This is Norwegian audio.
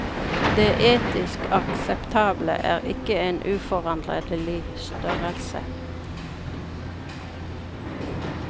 Det etisk akseptable er ikke en uforanderlig størrelse.